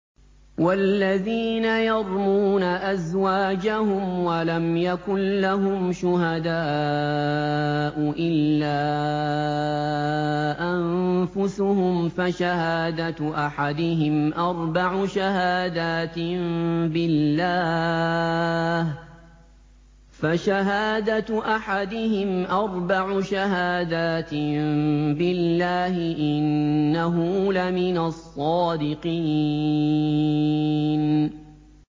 وَالَّذِينَ يَرْمُونَ أَزْوَاجَهُمْ وَلَمْ يَكُن لَّهُمْ شُهَدَاءُ إِلَّا أَنفُسُهُمْ فَشَهَادَةُ أَحَدِهِمْ أَرْبَعُ شَهَادَاتٍ بِاللَّهِ ۙ إِنَّهُ لَمِنَ الصَّادِقِينَ